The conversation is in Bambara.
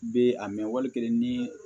Bɛ a mɛn wali kelen ni